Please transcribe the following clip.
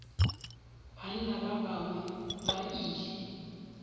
banna ba bangwe ba ile